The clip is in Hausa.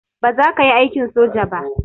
Baza kayi aikin soja ba